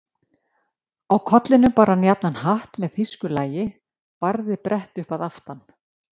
Á kollinum bar hann jafnan hatt með þýsku lagi, barðið brett upp að aftan.